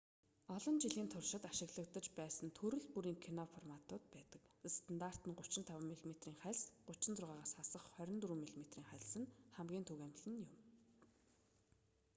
олон жилийн туршид ашиглагдаж байсан төрөл бүрийн кино форматууд байдаг. стандарт 35 мм-ийн хальс 36-аас хасах 24 мм-ийн хальс нь хамгийн түгээмэл нь юм